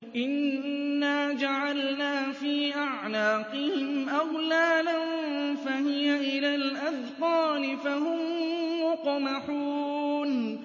إِنَّا جَعَلْنَا فِي أَعْنَاقِهِمْ أَغْلَالًا فَهِيَ إِلَى الْأَذْقَانِ فَهُم مُّقْمَحُونَ